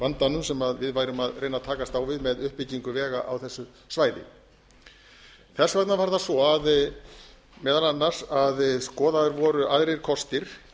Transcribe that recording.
vandanum sem við værum að reyna að takast á við með uppbyggingu vega á þessu svæði þess vegna var það svo meðal annars að skoðaðir voru aðrir kostir